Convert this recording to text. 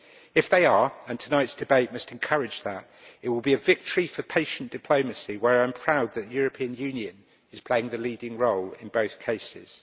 If they are and tonight's debate must encourage that it will be a victory for patient diplomacy, where I am proud that the European Union is playing the leading role in both cases.